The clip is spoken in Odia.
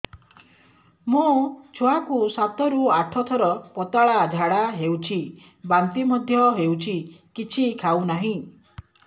ମୋ ଛୁଆ କୁ ସାତ ରୁ ଆଠ ଥର ପତଳା ଝାଡା ହେଉଛି ବାନ୍ତି ମଧ୍ୟ୍ୟ ହେଉଛି କିଛି ଖାଉ ନାହିଁ